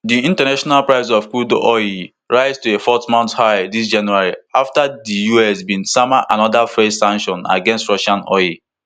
di international price of crude oil rise to a fourmonth high dis january afta di us bin sama anoda fresh sanction against russian oil